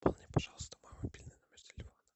пополни пожалуйста мой мобильный номер телефона